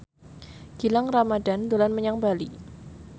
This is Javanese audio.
Gilang Ramadan dolan menyang Bali